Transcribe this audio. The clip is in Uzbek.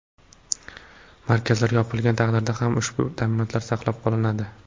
Markazlar yopilgan taqdirda ham ushbu ta’minotlar saqlab qolinadi.